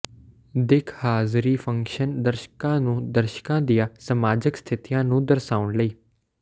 ਦਿੱਖ ਹਾਜ਼ਰੀ ਫੰਕਸ਼ਨ ਦਰਸ਼ਕਾਂ ਨੂੰ ਦਰਸ਼ਕਾਂ ਦੀਆਂ ਸਮਾਜਕ ਸਥਿਤੀਆਂ ਨੂੰ ਦਰਸਾਉਣ ਲਈ